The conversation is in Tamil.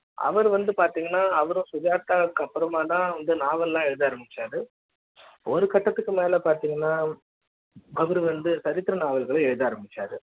அவர் வந்து பாத்திங்கன்னா அவர் சுஜாதா க்கு அப்புற மா தான் இந்த நாவல் எழுத ஆரம்பிச்சாரு ஒரு கட்டத்துக்கு மேல பாத்தீங்கன்னா அவரு வந்து சரித்திர நாவல்கள எழுத ஆரம்பிச்சாரு